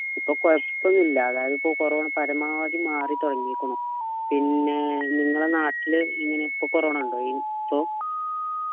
ഇപ്പൊ കൊഴപൊന്നില്യ അതായത് ഇപ്പോ corona പരമാവധി മാറിത്തുടങ്ങിക്കീണു പിന്നെ നിങ്ങളെ നാട്ടില് എങ്ങനെയാ ഇപ്പോ corona ഉണ്ടോ ഈ ഇപ്പോ